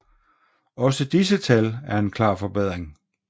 Også disse tal er en klar forbedring